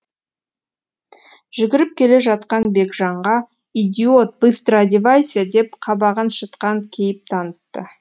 жүгіріп келе жатқан бекжанға идиот быстро одевайся деп қабағын шытқан кейіп танытты